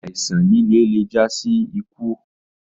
Àìsán lìlẹ̀ lè jà sí ìkú.